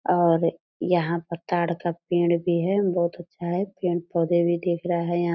और यहाँ पर तार का पेड़ भी है बहुत अच्छा है। पेड़ पौधे भी देख रहा है यहां --